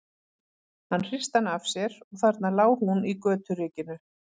Hann hristi hana af sér og þarna lá hún í göturykinu.